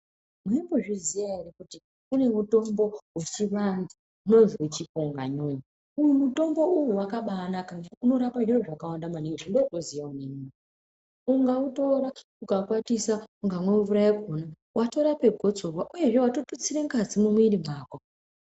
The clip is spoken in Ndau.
Maimbozviziya ere kuti kune mutombo wechiantu unozwi chipunganyunyu. Uyu mitombo uyu wakabaanaka ngekuti unotorape zviro zvakawanda maningi zvandinotoziyawo neniwo. Ukautora ukaukwatisa ukamwa mvura yakhona watorapa gotsorwa uyezve watotutsira ngazi mumwiri mwako.